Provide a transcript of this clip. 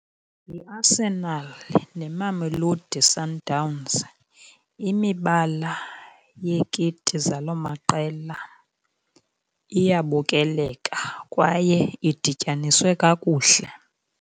YiArsenal neMamelodi Sundowns, imibala yeekiti zaloo maqela iyabukeleka kwaye idityaniswe kakuhle.